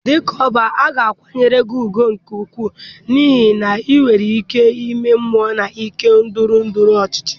Dịka Ọbá, a ga-akwanyere gị ugwu nke ukwuu n'ihi na ị nwere ikike ime mmụọ na nke ndọrọ ndọrọ ọchịchị.